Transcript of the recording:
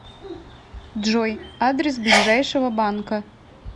джой адрес ближайшего банка